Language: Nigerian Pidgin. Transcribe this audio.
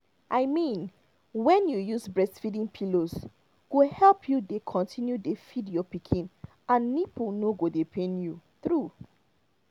i mean when you use breastfeeding pillows go help you dey continue dey feed your pikin and nipple no go dey pain you true